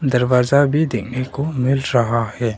दरवाजा भी देखने को मिल रहा है।